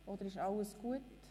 Oder ist alles in Ordnung?